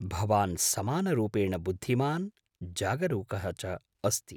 भवान् समानरूपेण बुद्धिमान् जागरूकः च अस्ति।